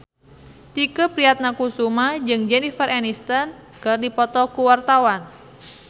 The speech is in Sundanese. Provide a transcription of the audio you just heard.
Tike Priatnakusuma jeung Jennifer Aniston keur dipoto ku wartawan